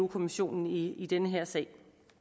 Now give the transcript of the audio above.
kommissionen i den her sag